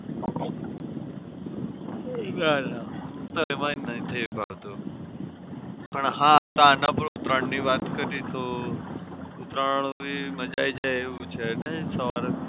નથી ભાવતું. પણ હા આના પર ઉતરાયણની વાત કરી તો ઉતરાયણ બી મજા આવી જાય એવું છે ને